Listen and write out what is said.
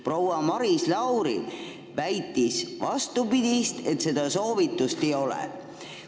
Proua Maris Lauri väitis vastupidist, et seda soovitust ei ole.